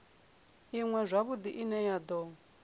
iṅwe zwavhudi ine ya do